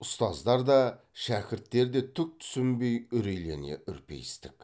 ұстаздар да шәкірттер де түкке түсінбей үрейлене үрпиістік